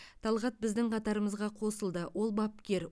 талғат біздің қатарымызға қосылды ол бапкер